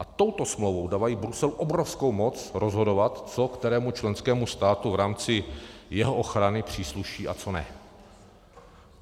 A touto smlouvou dávají Bruselu obrovskou moc rozhodovat, co kterému členskému státu v rámci jeho ochrany přísluší a co ne.